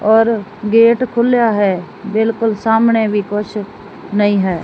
ਔਰ ਗੇਟ ਖੁੱਲਿਆ ਹੈ ਬਿਲਕੁਲ ਸਾਹਮਣੇ ਵੀ ਕੁਛ ਨਹੀਂ ਹੈ।